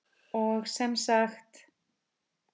Og sem sagt!